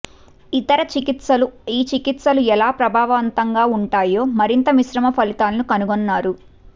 ఇతర చికిత్సలు ఈ చికిత్సలు ఎలా ప్రభావవంతంగా ఉంటాయో మరింత మిశ్రమ ఫలితాలను కనుగొన్నాయి